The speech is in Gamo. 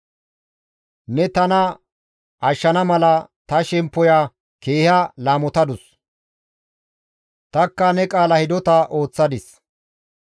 Ne tana ashshana mala ta shemppoya keeha laamotadus; tanikka ne qaala hidota ooththadis.